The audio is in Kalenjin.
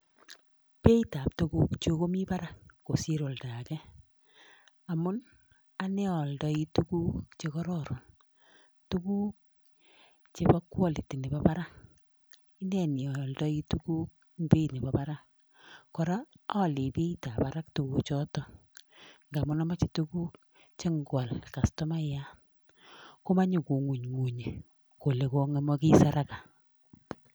Beit ab tuguk komiten Barak kosir oldage amun aldae tuguk chekororon tuguk chebo kwaliti Nebo Barak akaldai tuguk Nebo Barak en Beit Nebo Barak kora aldai Beit ab Barak noton ngamun amache tuguk negwal kastomayat komache kongungunye Kole komakis haraka